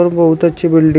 और बहुत अच्छी बिल्डिंग --